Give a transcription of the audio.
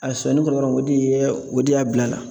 A sɔnni kɔrɔ yɔrɔ min o de yɛ o de y'a bil'a la.